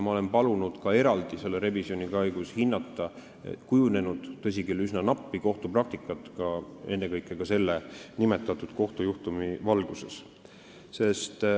Ma olen palunud selle revisjoni käigus eraldi hinnata kujunenud – tõsi küll, üsna nappi – kohtupraktikat, ka nimetatud kohtujuhtumi valguses.